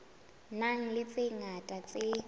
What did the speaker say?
nang le tse ngata tse